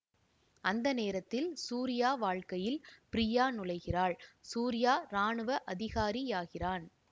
அந்த நேரத்தில் சூர்யா வாழ்க்கையில் ப்ரியா நுழைகிறாள் சூர்யா ராணுவ அதிகாரியாகிறான்